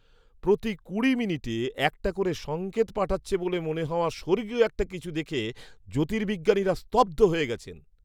প্রতি কুড়ি মিনিটে একটা করে সঙ্কেত পাঠাচ্ছে বলে মনে হওয়া স্বর্গীয় একটা কিছু দেখে জ্যোতির্বিজ্ঞানীরা স্তব্ধ হয়ে গেছেন।